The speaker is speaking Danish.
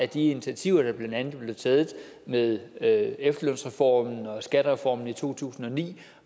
de initiativer der blandt andet blev taget med med efterlønsreformen og skattereformen i to tusind og ni